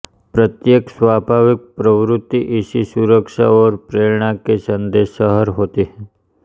प्रत्येक स्वाभाविक प्रवृत्ति इसी सुरक्षा और प्रेरणा की संदेशहर होती है